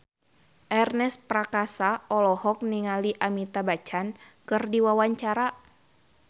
Ernest Prakasa olohok ningali Amitabh Bachchan keur diwawancara